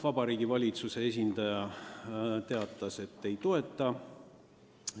Vabariigi Valitsuse esindaja teatas, et ei toeta ettepanekut.